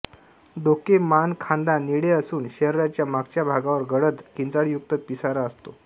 डोके मान खांदा निळे असून शरीराच्या मागच्या भागावर गडद किंचाळयुक्त पिसारा असतो